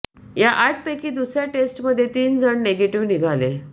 या आठ पैकी दूसर्या टेस्ट मध्ये तीन जण निगेटिव निघाले